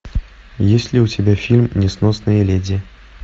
есть ли у тебя фильм несносные леди